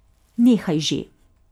Nehaj že.